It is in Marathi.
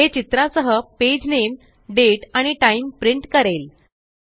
हे चित्रासहpage नामे दाते आणि टाइम प्रिंट करेल